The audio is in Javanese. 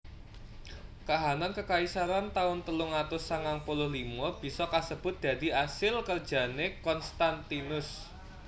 Kahanan kekaisaran taun telung atus sangang puluh limo bisa kasebut dadi asil kerjané Konstantinus